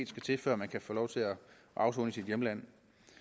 til før man kan få lov til at afsone i sit hjemland